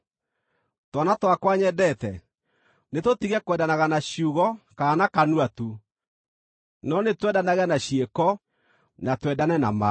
Twana twakwa nyendete, nĩtũtige kwendanaga na ciugo kana na kanua tu, no nĩtwendanage na ciĩko na twendane na ma.